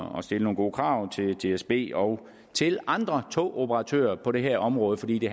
om at stille nogle gode krav til dsb og til andre togoperatører på det her område for i